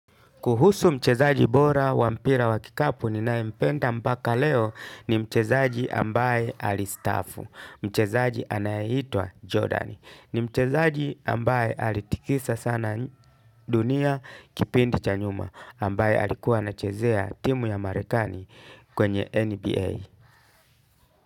Kuhusu mchezaji bora wa mpira wa kikapu ninayempenda mpaka leo ni mchezaji ambaye alistaafu. Mchezaji anayeitwa Jordan. Ni mchezaji ambaye alitikisa sana dunia kipindi cha nyuma ambaye alikuwa anachezea timu ya marekani kwenye NBA.